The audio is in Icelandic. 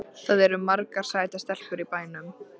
Það eru margar sætar stelpur í bænum.